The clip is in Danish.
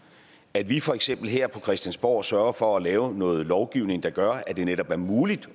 at vi for eksempel her på christiansborg sørger for at lave noget lovgivning der gør at det netop er muligt